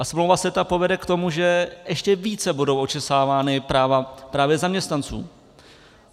A smlouva CETA povede k tomu, že ještě více budou očesávána práva právě zaměstnanců.